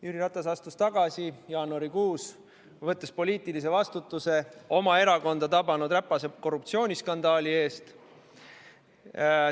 Jüri Ratas astus jaanuarikuus tagasi, võttes poliitilise vastutuse oma erakonda tabanud räpase korruptsiooniskandaali eest.